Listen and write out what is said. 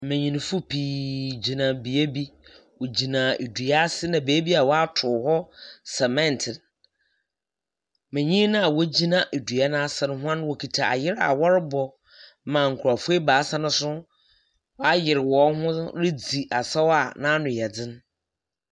Nbenyi fo pii gyina bea bi. Ɔgyina dua ase na baabi a wato hɔ ntare nwea. Nbenyini na ɔgyina dua na ase no wɔkita ndwom afie a ɔrebɔ na nkurɔfo baasa no nso wa yere wɔn ho redi asaw a na no yɛ din.